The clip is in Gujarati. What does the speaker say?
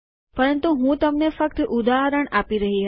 પરંતુ હું તમને ફક્ત ઉદાહરણ આપી રહી હતી